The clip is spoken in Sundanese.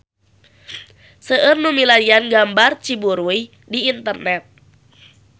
Seueur nu milarian gambar Situ Ciburuy di internet